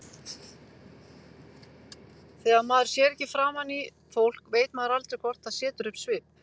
Þegar maður sér ekki framan í fólk veit maður aldrei hvort það setur upp svip.